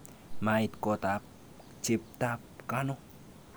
Mait kotab cheptab Kano.